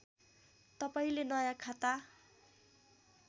तपाईँले नयाँ खाता